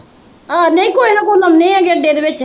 ਆਹੋ ਨਹੀਂ ਕੁਝ ਨਾ ਕੁਛ ਲਾਉਂਦੇ ਆ ਅੱਡੇ ਦੇ ਵਿਚ